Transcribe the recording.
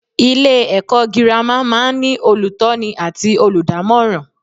Ilé èkó girama máa n ní olùtóni àti olùdámòràn